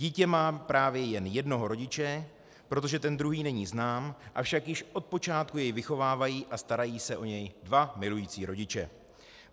Dítě má právě jen jednoho rodiče, protože ten druhý není znám, avšak již od počátku jej vychovávají a starají se o ně dva milující rodiče.